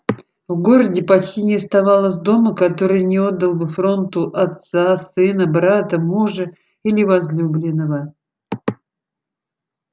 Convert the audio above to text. в городе почти не оставалось дома который не отдал бы фронту отца сына брата мужа или возлюбленного